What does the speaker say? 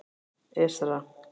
Esra